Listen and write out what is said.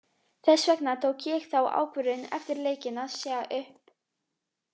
Þess vegna tók ég þá ákvörðun eftir leikinn að segja upp.